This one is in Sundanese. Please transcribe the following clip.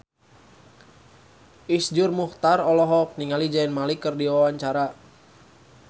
Iszur Muchtar olohok ningali Zayn Malik keur diwawancara